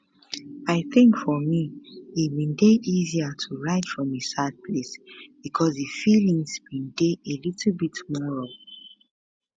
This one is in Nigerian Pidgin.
i think for me e bin dey easier to write from a sad place because di feelings bin dey a little bit more raw